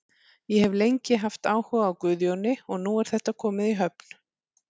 Ég hef lengi haft áhuga á Guðjóni og nú er þetta komið í höfn.